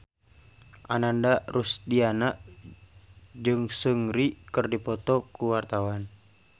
Ananda Rusdiana jeung Seungri keur dipoto ku wartawan